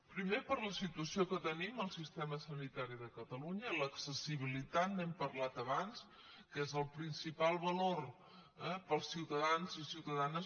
primer per la situació que tenim al sistema sanitari de catalunya l’accessibilitat n’hem parlat abans que és el principal valor per als ciutadans i les ciutadanes